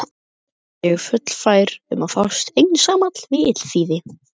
Ég er fullfær um að fást einsamall við illþýði!